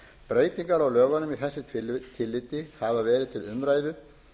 breytingar á lögunum í þessu tilliti hafa verið til umræðu